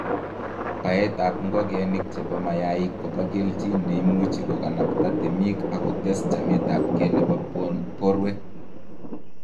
baetab ngokenik chebo mayaik kobo keljin neimuuchi koganapta temik ak kotes chametabge nebo borwek.